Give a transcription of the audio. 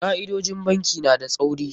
Ka'idojin bankin na da tsauri.